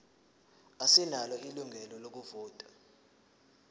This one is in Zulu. asinalo ilungelo lokuvota